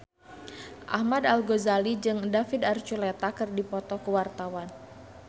Ahmad Al-Ghazali jeung David Archuletta keur dipoto ku wartawan